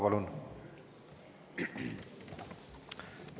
Palun!